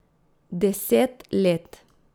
Deset let.